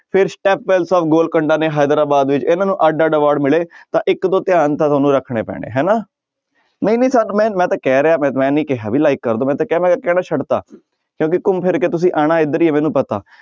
ਫਿਰ ਗੋਲ ਕੰਡਾ ਨੇ ਹੈਦਰਾਬਾਦ ਵਿੱਚ ਇਹਨਾਂ ਨੂੰ ਅੱਢ ਅੱਢ award ਮਿਲੇ ਤਾਂ ਇੱਕ ਦੋ ਧਿਆਨ ਤਾਂ ਤੁਹਾਨੂੰ ਰੱਖਣੇ ਪੈਣੇ ਹਨਾ ਮੈਂ, ਮੈਂ ਤਾਂ ਕਹਿ ਰਿਹਾਂ ਮੈਂ ਨੀ ਕਿਹਾ ਵੀ like ਕਰ ਦਓ ਮੈਂ ਤਾਂ ਕਿਹਾ ਮੈਂ ਕਹਿਣਾ ਛੱਡ ਦਿੱਤਾ ਕਿਉਂਕਿ ਘੁੰਮ ਫਿਰ ਕੇ ਤੁਸੀਂ ਆਉਣਾ ਇੱਧਰ ਹੀ ਹੈ ਮੈਨੂੰ ਪਤਾ